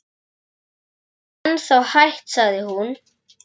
Þú getur ennþá hætt sagði hún.